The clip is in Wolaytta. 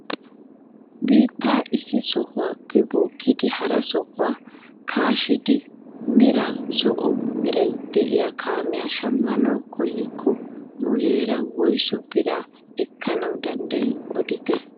Biittaa issi sohuwaappe bookkidi hara sohuwaa kaashshidi meran zo'o meraaa de'iyaa kaamiyaa shammanwu koyikko muleera woysu biraa ekkana danddayii odite?